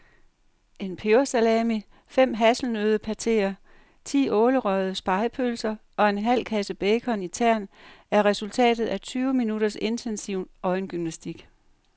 En pebersalami, fem hasselnøddepateer, ti ålerøgede spegepølser og en halv kasse bacon i tern er resultatet af tyve minutters intensiv øjengymnastik.